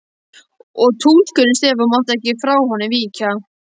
Og túlkurinn Stefán mátti ekki frá honum víkja.